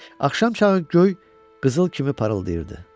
Axşam çağı göy qızıl kimi parıldayırdı.